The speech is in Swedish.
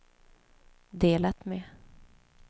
delat med